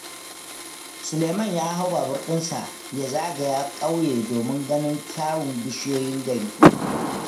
Suleiman ya hau babur dinsa ya zagaya ƙauye don ganin kyawun bishiyoyin garin.